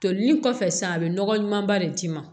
Toli ni kɔfɛ sisan a bɛ nɔgɔ ɲumanba de d'i ma